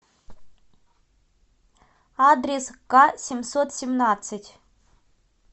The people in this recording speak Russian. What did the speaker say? адрес касемьсотсемнадцать